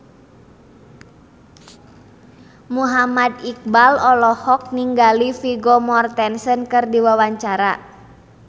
Muhammad Iqbal olohok ningali Vigo Mortensen keur diwawancara